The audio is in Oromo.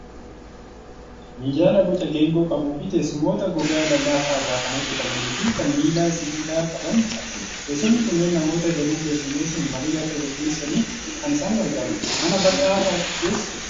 Minjaala boca geengoo qabuu fi teessumoota gogaa lallaafaa irraa kan hojjetamanii fi kan miila sibiila qaban argina. Teessumni kunneen namoota danuu keessummeessuun marii akka gaggeessaniif kan isaan gargaarudha. Mana bal'aa keessa jiru.